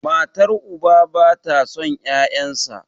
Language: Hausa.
matar uba ba ta son 'ya'yansa